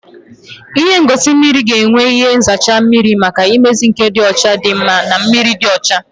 Ihe ngosi mmiri ga-enwe ihe nzacha mmiri maka mmezi nke ịdị ọcha dị mma na mmiri dị ọcha